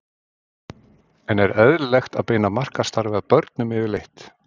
En er eðlilegt að beina markaðsstarfi að börnum yfirleitt?